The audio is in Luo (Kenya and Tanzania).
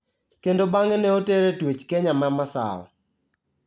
Kendo bang'e ne otere e twech Kenya ma Masawa.